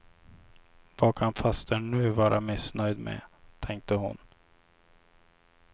Vad kan fastern nu vara missnöjd med, tänkte hon.